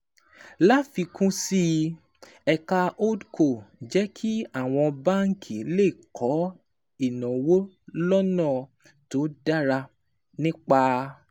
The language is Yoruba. Láfikún sí i, ẹ̀ka HoldCo jẹ́ kí àwọn báńkì lè kó ìnáwó lọ́nà tó dára nípa